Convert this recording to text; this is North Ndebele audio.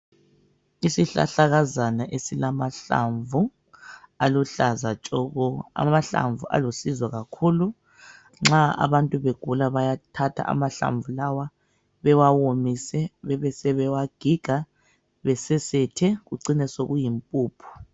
Isihlahlakazana esilamahlamvu aluhlaza tshoko. Amahlamvu alusizo kakhulu nxa abantu begula bayathatha amahlamvu lawa bewawomise bebesebewagiga besesethe kucine sekuyimpuphu.